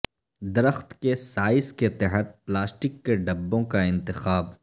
درخت کے سائز کے تحت پلاسٹک کے ڈبوں کا انتخاب